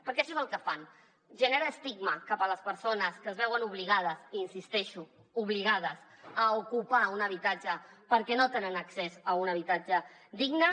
perquè això és el que fan generar estigma cap a les persones que es veuen obligades hi insisteixo obligades a ocupar un habitatge perquè no tenen accés a un habitatge digne